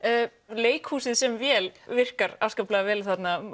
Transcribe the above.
leikhúsið sem vél virkar afskaplega vel